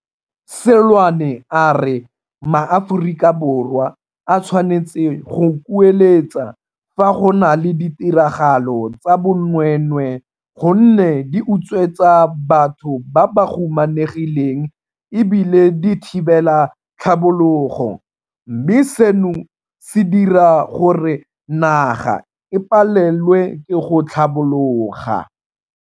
Seloane a re maAforika Borwa a tshwanetse go kueletsa fa go na le ditiragalo tsa bonweenwee gonne di utswetsa batho ba ba humanegileng e bile di thibela tlhabologo, mme seno se dira gore naga e palelwe ke go tlhabologa.